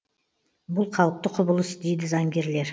бұл қалыпты құбылыс дейді заңгерлер